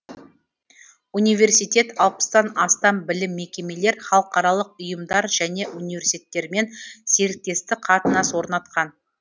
университет алпыстан астам білім мекемелер халықаралық ұйымдар және университеттермен серіктестік қатынас орнатқан